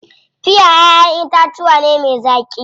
Piya ƴaʼƴen itatuwa ne me zaƙi.